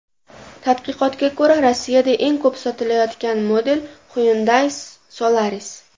Tadqiqotga ko‘ra, Rossiyada eng ko‘p sotilayotgan model Hyundai Solaris.